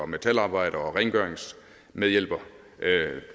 metalarbejder og rengøringsmedhjælper